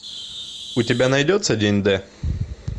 у тебя найдется день д